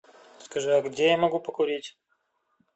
скажи а где я могу покурить